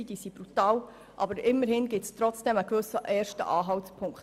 Diese sind brutal, aber immerhin gibt eine solche Grafik einen ersten Anhaltspunkt.